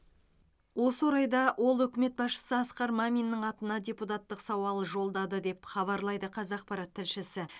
осы орайда ол үкімет басшысы асқар маминнің атына депутаттық сауал жолдады деп хабарлайды қазақпарат тілшісі